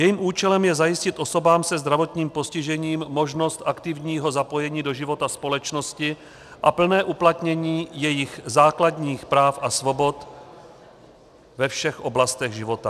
Jejím účelem je zajistit osobám se zdravotním postižením možnost aktivního zapojení do života společnosti a plné uplatnění jejich základních práv a svobod ve všech oblastech života.